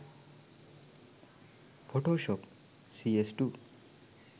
photoshop cs2